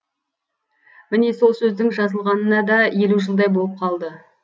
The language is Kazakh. міне сол сөздің жазылғанына да елу жылдай болып қалды